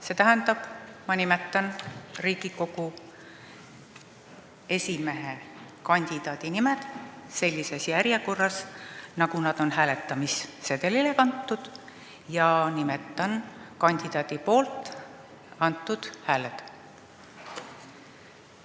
See tähendab, ma nimetan Riigikogu esimehe kandidaadi nimed sellises järjekorras, nagu nad on hääletamissedelitele kantud, ja nimetan kandidaadi poolt antud hääled.